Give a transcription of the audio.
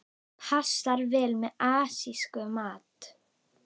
Passar vel með asískum mat.